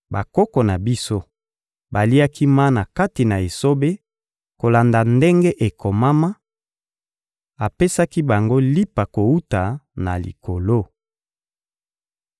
Bakoko na biso baliaki mana kati na esobe kolanda ndenge ekomama: «Apesaki bango lipa kowuta na Likolo.»